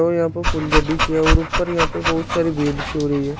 और यहां पर फुलझड़ी सी है और ऊपर यहां पर बहोत सारी भीड़ सी हो रही है।